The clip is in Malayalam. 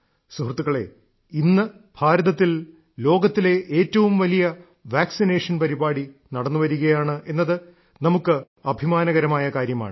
സുഹൃത്തുക്കളേ ഇന്ന് ഭാരതത്തിൽ ലോകത്തിലെ ഏറ്റവും വലിയ വാക്സിനേഷൻ പരിപാടി നടന്നുവരികയാണ് എന്നത് നമുക്ക് അഭിമാനകരമായ കാര്യമാണ്